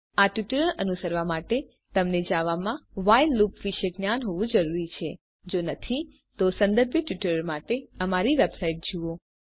આ ટ્યુટોરીયલ અનુસરવા માટે તમને જાવામાં વ્હાઇલ લુપ વિષે જ્ઞાન હોવું જરૂરી છે જો નહિં તો સંબંધિત ટ્યુટોરિયલ્સ માટે અમારી વેબસાઇટ httpspoken tutorialorg જુઓ